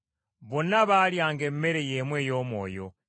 Bonna baalyanga emmere y’emu ey’omwoyo,